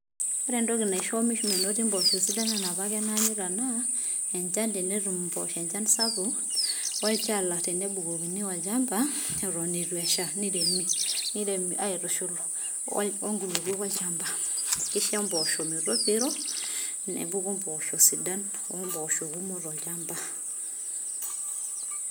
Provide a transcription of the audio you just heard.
ore entoki naisho menoti mboshoo sidan ena enapake nanyita naa enchan tenetum imposho enchan sapuk olchala, tenebukokini olchamba eton etu esha, niremi niremi aitushul onkulukuok olchamba, kisho mbosho metopiro nepuku imbosho sidan ombosho kumok tolchamba.